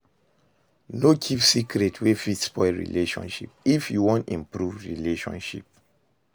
No keep secret wey fit spoil relationship if you wan improve relationship